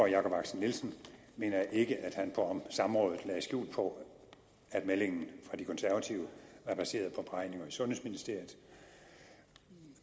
jakob axel nielsen mener jeg ikke at han på samrådet lagde skjul på at meldingen fra de konservative var baseret på beregninger i sundhedsministeriet